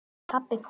Pabbi kúl!